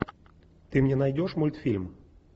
ты мне найдешь мультфильм